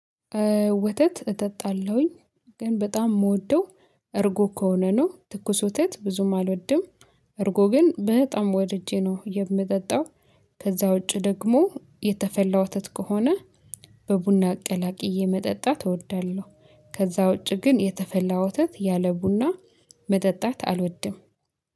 ወተት እጠጣለሁኝ ግን በጣም የምወደው እርጎ ከሆነ ነው ትኩስ ወተት ብዙም አልወድም። እርጎ ግን በጣም ወድጀ ነው የምጠጣው። ከዛ ውጪ ደግሞ የተፈላ ወተት ከሆነ በቡና አቀላቅየ መጠጣት እወዳለሁ። ከዛ ውጪ ግን የተፈላ ወተት ያለ ቡና መጠጣት አልወድም